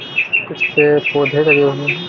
इसपे पौधे लगे हुए हैं।